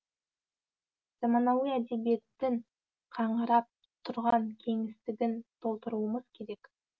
заманауи әдебиеттің қаңырап тұрған кеңістігін толтыруымыз керек